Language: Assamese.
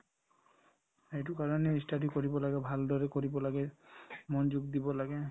সেইটো কাৰণে ই study কৰিব লাগে ভালদৰে কৰিব লাগে মনোযোগ দিব লাগে